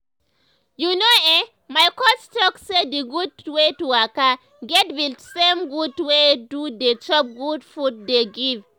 you know eh my coach talk say d gud wey to waka get be the same gud wey to dey chop good food dey give.